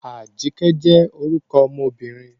Ajike jẹ́ orúkọ ọmọbìnrin.